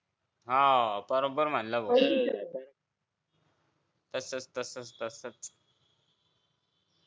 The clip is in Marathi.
आह बरोबर म्हणला भो